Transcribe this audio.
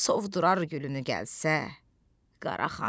sovurur gülünü gəlsə Qara xan.